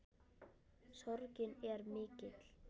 Sorgin er mikill.